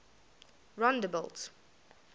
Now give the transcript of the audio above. rondebult